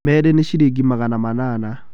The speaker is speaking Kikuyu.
Meerĩ nĩ ciringi magana manana.